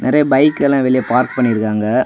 நெறைய பைக் எல்லா வெளிய பார்க் பன்னிருக்காங்க.